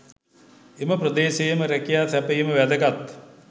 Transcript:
එම ප්‍රදේශයේම රැකියා සැපයීම වැදගත්.